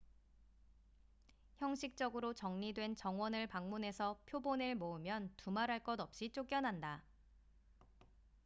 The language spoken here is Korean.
"형식적으로 정리된 정원을 방문해서 "표본""을 모으면 두말할 것 없이 쫓겨난다.